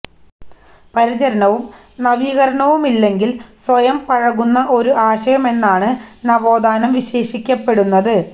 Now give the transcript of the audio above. പരിചരണവും നവീകരണവുമില്ലെങ്കില് സ്വയം പഴകുന്ന ഒരു ആശയമെന്നാണ് നവോത്ഥാനം വിശേഷിപ്പിക്കപ്പെടുന്നത്